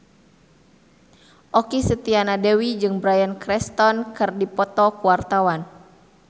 Okky Setiana Dewi jeung Bryan Cranston keur dipoto ku wartawan